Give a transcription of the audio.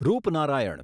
Rupnarayan